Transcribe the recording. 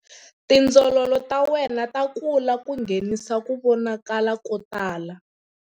Tindzololo ta wena ta kula ku nghenisa ku vonakala ko tala.